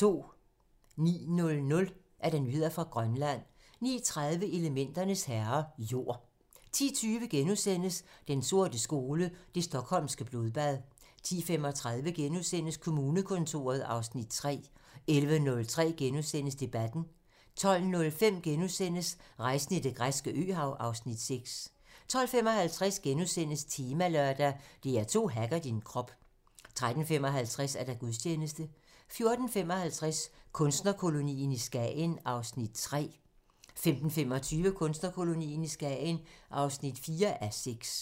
09:00: Nyheder fra Grønland 09:30: Elementernes herrer - jord 10:20: Den sorte skole: Det Stockholmske Blodbad * 10:35: Kommunekontoret (Afs. 3)* 11:05: Debatten * 12:05: Rejsen i det græske øhav (Afs. 6)* 12:55: Temalørdag: DR2 hacker din krop * 13:55: Gudstjeneste 14:55: Kunstnerkolonien i Skagen (3:6) 15:25: Kunstnerkolonien i Skagen (4:6)